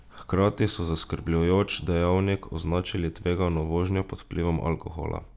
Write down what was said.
Hkrati so kot zaskrbljujoč dejavnik označili tvegano vožnjo pod vplivom alkohola.